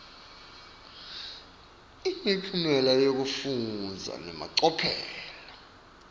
imiphumela yekufundza nemacophelo